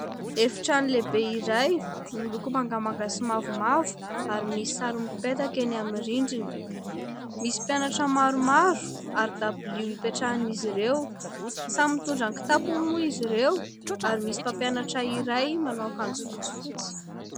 Efitrano lehibe iray miloko mangamanga sy mavomavo ary misy sary mipetaka eny amin'ny rindrina, misy mpianatra maromaro ary dabilio hipetrahan'izy ireo. Samy mitondra kitapony moa izy ireo ary misy mpampianatra iray manao akanjo fotsifotsy.